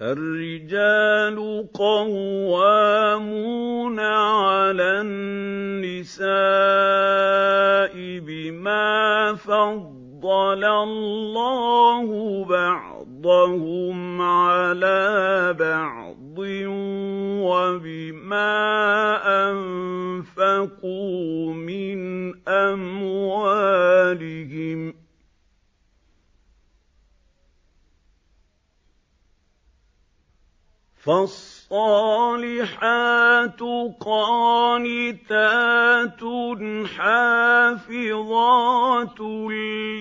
الرِّجَالُ قَوَّامُونَ عَلَى النِّسَاءِ بِمَا فَضَّلَ اللَّهُ بَعْضَهُمْ عَلَىٰ بَعْضٍ وَبِمَا أَنفَقُوا مِنْ أَمْوَالِهِمْ ۚ فَالصَّالِحَاتُ قَانِتَاتٌ حَافِظَاتٌ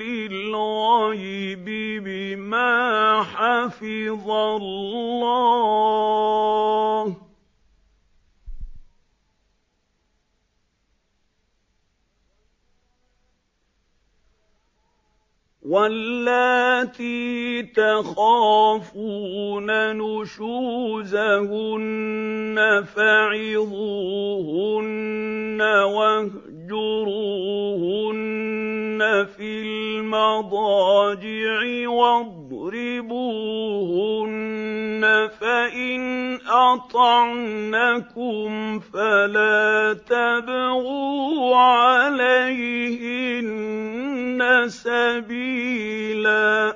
لِّلْغَيْبِ بِمَا حَفِظَ اللَّهُ ۚ وَاللَّاتِي تَخَافُونَ نُشُوزَهُنَّ فَعِظُوهُنَّ وَاهْجُرُوهُنَّ فِي الْمَضَاجِعِ وَاضْرِبُوهُنَّ ۖ فَإِنْ أَطَعْنَكُمْ فَلَا تَبْغُوا عَلَيْهِنَّ سَبِيلًا ۗ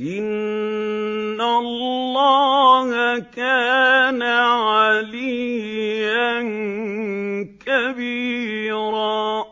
إِنَّ اللَّهَ كَانَ عَلِيًّا كَبِيرًا